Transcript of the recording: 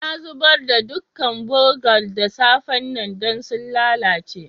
Na zubar da dukan burgan da safe'n nan dan sun lallace.